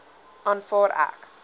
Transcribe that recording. aanvaar ek